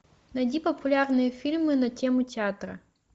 найди популярные фильмы на тему театра